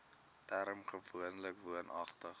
term gewoonlik woonagtig